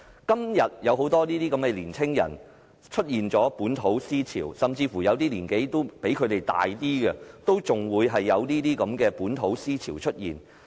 今天有很多年輕人出現本土思潮，甚至有部分較年長的人，也出現這種本土思潮。